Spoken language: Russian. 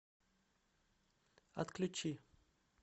отключи